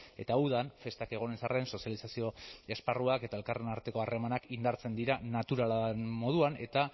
eta udan festak egon ez arren sozializazio esparruak eta elkarren arteko harremanak indartzen dira naturala den moduan eta